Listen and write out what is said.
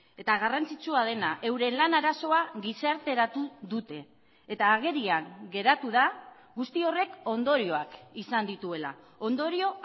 eta garrantzitsua dena euren lan arazoa gizarteratu dute eta agerian geratu da guzti horrek ondorioak izan dituela ondorio